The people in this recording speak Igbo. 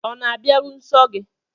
Ọ̀ na-abịaru nsọ gị?